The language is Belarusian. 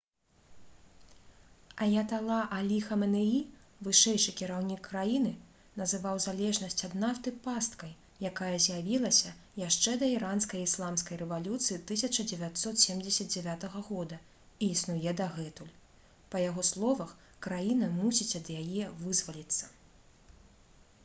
аятала алі хаменеі вышэйшы кіраўнік краіны называў залежнасць ад нафты «пасткай» якая з'явілася яшчэ да іранскай ісламскай рэвалюцыі 1979 года і існуе дагэтуль. па яго словах краіна мусіць ад яе вызваліцца